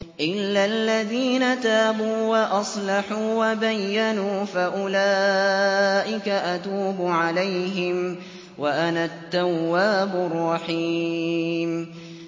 إِلَّا الَّذِينَ تَابُوا وَأَصْلَحُوا وَبَيَّنُوا فَأُولَٰئِكَ أَتُوبُ عَلَيْهِمْ ۚ وَأَنَا التَّوَّابُ الرَّحِيمُ